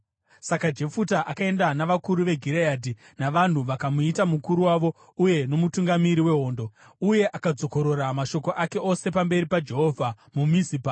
Saka Jefuta akaenda navakuru veGireadhi, vanhu vakamuita mukuru wavo uye nomutungamiri wehondo. Uye akadzokorora mashoko ake ose pamberi paJehovha muMizipa.